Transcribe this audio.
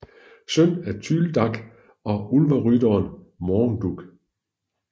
Søn af Tyldak og Ulverytteren Morgendug